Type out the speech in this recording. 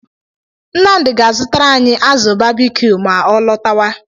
Nnamdi ga-azụtara anyị azụ babikiu ma ọ lọtawa.